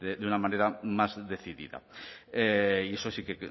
de una manera más decidida y eso sí que